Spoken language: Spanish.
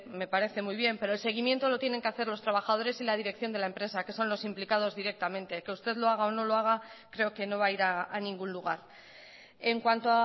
me parece muy bien pero el seguimiento lo tienen que hacer los trabajadores y la dirección de la empresa que son los implicados directamente que usted lo haga o no lo haga creo que no va a ir a ningún lugar en cuanto